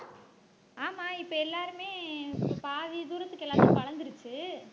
ஆமா இப்ப எல்லாருமே இப்ப பாதி தூரத்துக்கு எல்லாமே வளர்ந்திருச்சு.